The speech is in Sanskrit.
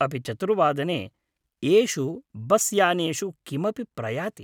अपि चतुर्वादने एषु बस् यानेषु किमपि प्रयाति ?